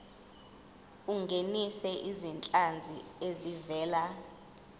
ungenise izinhlanzi ezivela